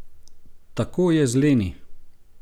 Tako je z Leni.